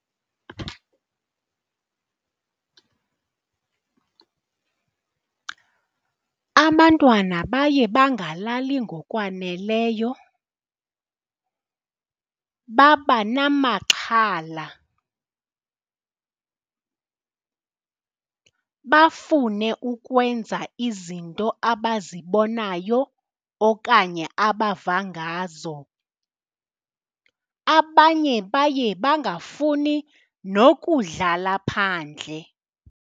Abantwana baye bangalali ngokwaneleyo, babanamaxhala bafune ukwenza izinto abazibonayo okanye abava ngazo. Abanye baye bangafuni nokudlala phandle.